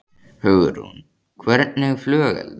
Hugrún: Hvernig flugelda?